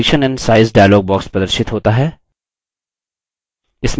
position and size dialog प्रदर्शित होता है